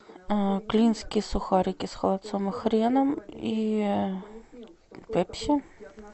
клинские сухарики с холодцом и хреном и пепси